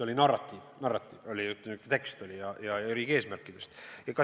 Oli narratiiv, oli tekst riigi eesmärkidest.